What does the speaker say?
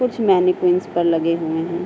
कुछ मैनेजमेंट्स पर लगे हुए हैं।